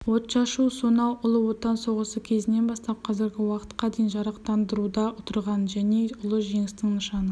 отшашу сонау ұлы отан соғысы кезінен бастап қазіргі уақытқа дейін жарақтандыруда тұрған және ұлы жеңістің нышаны